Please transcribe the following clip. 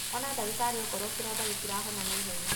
Ona ndagĩtarĩ okorwo kĩronda gĩtirahona naihenya.